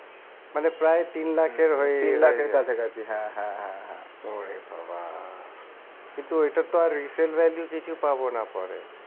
মানে প্রায় তিন লাখের ওরে বাবা কিন্তু ওইটার তো আর resale value কিছু পাবো না পরে